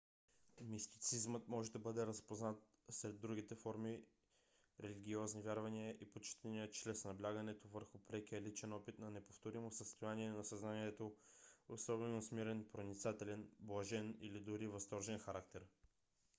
мистицизмът може да бъде разпознат сред другите форми религиозни вярвания и почитания чрез наблягането върху прекия личен опит на неповторимо състояние на съзнанието особено с мирен проницателен блажен или дори възторжен характер